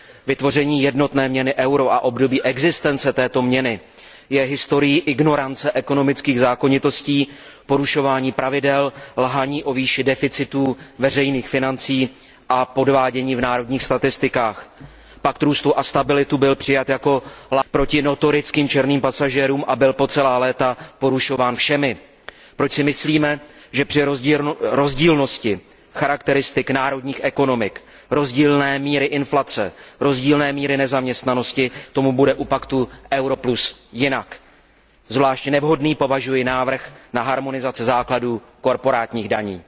Vytvoření jednotné měny euro a období existence této měny je historií ignorance ekonomických zákonitostí, porušování pravidel, lhaní o výši deficitů veřejných financí a podvádění v národních statistikách. Pakt růstu a stability byl přijat jako proti notorickým černým pasažérům a byl po celá léta porušován všemi. Proč si myslíme, že při rozdílnosti charakteristik národních ekonomik, rozdílné míry inflace, rozdílné míry nezaměstnanosti, tomu bude u Paktu euro plus jinak? Za zvlášť nevhodný považuji návrh na harmonizaci základů korporátních daní.